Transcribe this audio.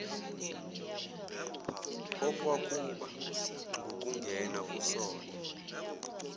okwakuba ngukungena kusona